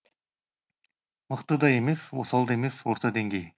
мықты да емес осал да емес орта деңгей